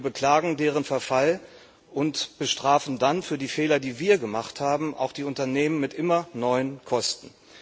Wir beklagen deren Verfall und bestrafen dann für die Fehler, die wir gemacht haben, auch die Unternehmen mit immer neuen Kosten.